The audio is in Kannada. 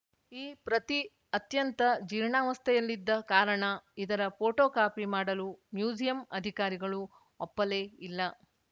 ಈ ಪ್ರತಿ ಅತ್ಯಂತ ಜೀರ್ಣಾವಸ್ಥೆಯಲ್ಲಿದ್ದ ಕಾರಣ ಇದರ ಫೋಟೋಕಾಪಿ ಮಾಡಲು ಮ್ಯೂಸಿಯಂ ಆಧಿಕಾರಿಗಳು ಒಪ್ಪಲೇ ಇಲ್ಲ